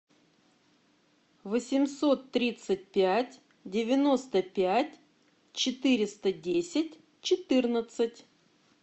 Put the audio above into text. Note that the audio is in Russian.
восемьсот тридцать пять девяносто пять четыреста десять четырнадцать